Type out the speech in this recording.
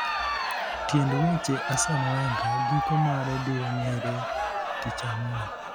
tiend weche, Arsene Wenger giko mare biro ng'ere tich ang'wen